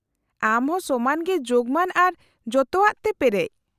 -ᱟᱢ ᱦᱚ ᱥᱚᱢᱟᱱ ᱜᱮ ᱡᱳᱜᱢᱟᱱ ᱟᱨ ᱡᱚᱛᱚᱣᱟᱜ ᱛᱮ ᱯᱮᱨᱮᱡ ᱾